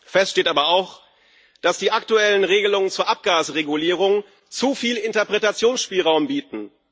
Fest steht aber auch, dass die aktuellen Regelungen zur Abgasregulierung zu viel Interpretationsspielraum bieten.